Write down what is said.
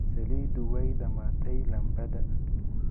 Saliiddu way dhammaatay laambada.